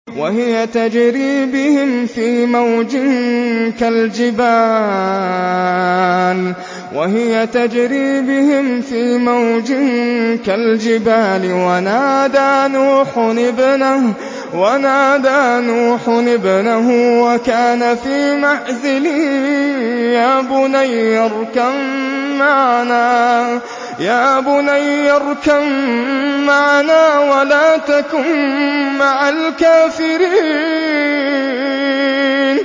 وَهِيَ تَجْرِي بِهِمْ فِي مَوْجٍ كَالْجِبَالِ وَنَادَىٰ نُوحٌ ابْنَهُ وَكَانَ فِي مَعْزِلٍ يَا بُنَيَّ ارْكَب مَّعَنَا وَلَا تَكُن مَّعَ الْكَافِرِينَ